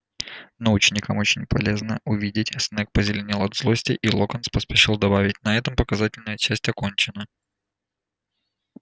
но ученикам очень полезно увидеть снегг позеленел от злости и локонс поспешил добавить на этом показательная часть окончена